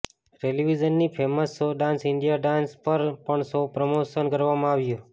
ટેલિવીઝનના famous show dance India dance પર પણ promotion કરવામાં આવ્યું હતુ